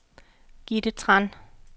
Gitte Tran